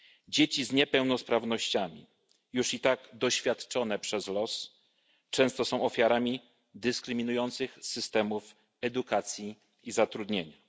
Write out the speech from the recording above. Dzieci z niepełnosprawnościami, już i tak doświadczone przez los, często są ofiarami dyskryminujących systemów edukacji i zatrudnienia.